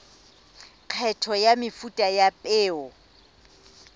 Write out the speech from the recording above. kgetho ya mefuta ya peo